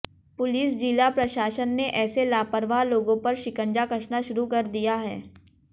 police जिला प्रशासन ने ऐसे लापरवाह लोगों पर शिकंजा कसना शुरू कर दिया है